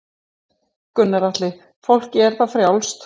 Gunnar Atli: Fólki er það frjálst?